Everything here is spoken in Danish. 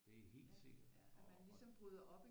Det er helt sikkert og